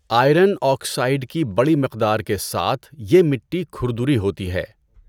Iron oxide کی بڑی مقدار کے ساتھ یہ مٹی کھردری ہوتی ہے۔